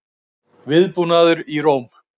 Viðbúnaður í Róm